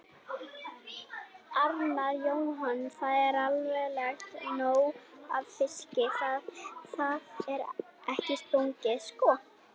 Arnar Jóhannsson: Það er allavega nóg af fiski, það, það er ekki spurning sko?